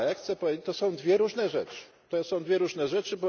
Ale chcę powiedzieć, to są dwie różne rzeczy.